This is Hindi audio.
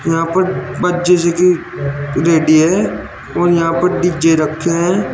है और यहां पर डी_जे रखे हैं।